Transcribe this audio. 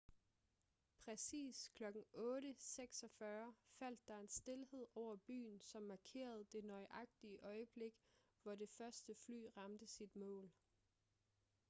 præcis klokken 8:46 faldt der en stilhed over byen som markerede det nøjagtige øjeblik hvor det første fly ramte sit mål